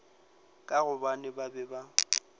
ka gobane ba be ba